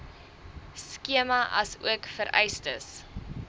skema asook vereistes